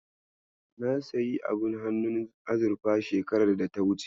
Na sayi abun hannun azurfa shekarar data wuce.